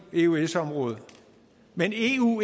eu eøs området men eu